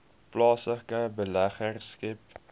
plaaslike beleggers skep